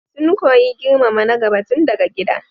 Sun koyi girmama na gaba tun daga gida.